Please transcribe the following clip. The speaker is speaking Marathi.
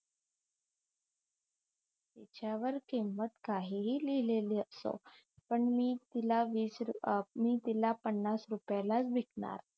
या वर किंमत काहीही लिहिलेली असो पण मी तिला वीस अं मी तिला पन्नास रुपयालाच विकणार